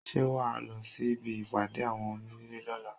Ṣé wà á lọ sí ibi ìpàdé àwọn onílé lọ́la?